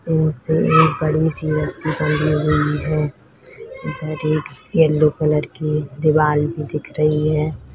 एक बड़ी सी रस्सी बंधी हुई है जो एक येलो कलर की दीवार भी दिख रही है।